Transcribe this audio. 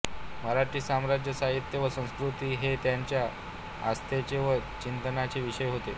मराठी समाज साहित्य व संस्कृती हे त्यांच्या आस्थेचे व चिंतनाचे विषय होते